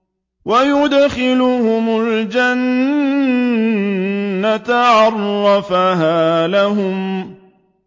وَيُدْخِلُهُمُ الْجَنَّةَ عَرَّفَهَا لَهُمْ